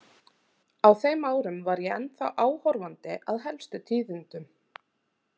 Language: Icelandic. Á þeim árum var ég ennþá áhorfandi að helstu tíðindum.